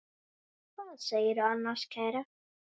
Hvað segirðu annars, kæra?